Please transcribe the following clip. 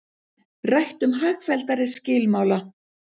Rætt um hagfelldari skilmála